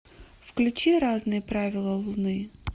включи разные правила луны